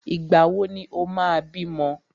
Ìgbà wò ni o máa bímọ?